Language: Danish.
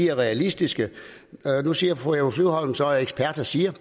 er realistiske nu siger fru eva flyvholm så at eksperterne siger